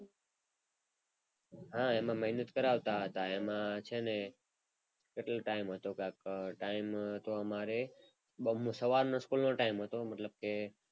હા એમાં મહેનત કરાવતા હતા એમાં છે ને કેટલો ટાઈમ હતો ટાઈમ હતો. અમારે સવારનો સ્કૂલ નો ટાઈમ હતો મતલબ કે,